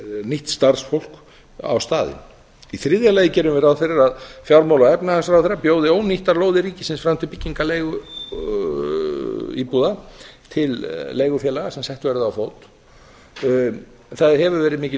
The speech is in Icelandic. nýtt starfsfólk á staðinn í þriðja lagi gerum við ráð fyrir að fjármála og efnahagsráðherra bjóði ónýttar lóðir ríkisins fram til byggingar leiguíbúða til leigufélaga sem sett verði á fót það hefur verið mikil